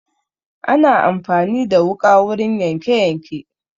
Ana amfani da wuƙa wurin yanke yanke